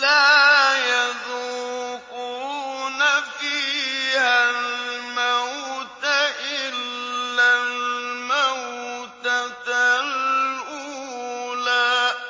لَا يَذُوقُونَ فِيهَا الْمَوْتَ إِلَّا الْمَوْتَةَ الْأُولَىٰ ۖ